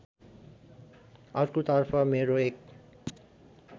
अर्कोतर्फ मेरो एक